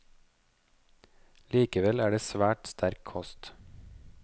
Likevel er det svært sterk kost.